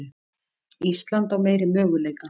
Ísland á meiri möguleika